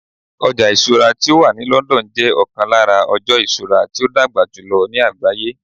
ọja isura ti o wa ni London jẹ okon lara ojo isura ti o dagba julọ ni àgbáyé